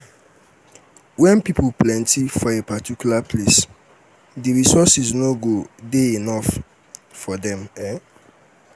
di major cause of environmental um impact na technology wey don advance